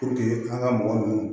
an ka mɔgɔ ninnu